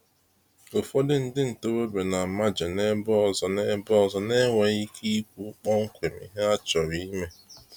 Ụfọdụ ndị ntorobịa na amaje n’ebe ọzọ n’ebe ọzọ na-enweghị ike ikwu kpọmkwem ihe ha chọrọ ime.